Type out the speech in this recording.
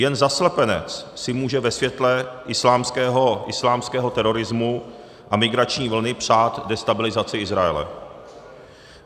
Jen zaslepenec si může ve světle islámského terorismu a migrační vlny přát destabilizaci Izraele.